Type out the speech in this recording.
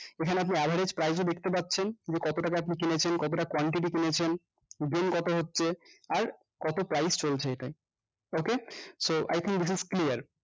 এখানে আপনি average price এ দেখতে পারছেন যে কত টাকা আপনি কিনেছেন কতটা quantity কিনেছেন gain কত হচ্ছে আর কত price চলছে এটায় okay so i think this is clear